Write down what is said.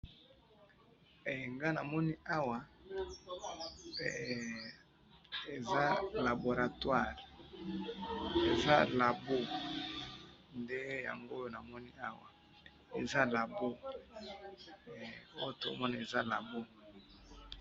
nga na moni awa eza labo nde na moni awa